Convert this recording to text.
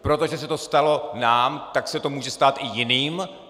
Protože se to stalo nám, tak se to může stát i jiným?